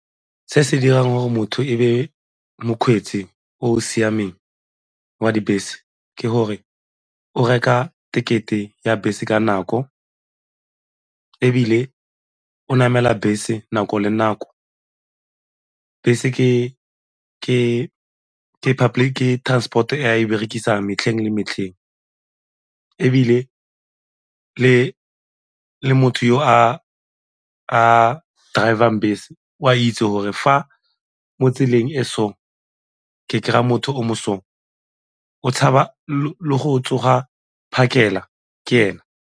Se se dirang gore motho e be mokgweetsi o o siameng wa dibese ke gore o reka ticket-e e ya bese ka nako ebile o namela bese nako le nako. Bese ke transport-o e a e berekisang metlheng le metlheng ebile le le motho yo a a driver bese o a itse gore fa mo tseleng e so ke kry-a motho o mo o tshaba le go tsoga phakela ka ena.